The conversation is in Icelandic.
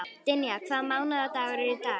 Dynja, hvaða mánaðardagur er í dag?